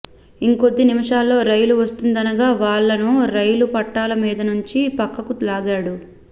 ఇంకొద్ది నిమిషాల్లో రైలు వస్తుందనగా వాళ్ళను రైలు పట్టాల మీదనుంచి పక్కకు లాగాడు